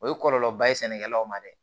O ye kɔlɔlɔba ye sɛnɛkɛlaw ma dɛ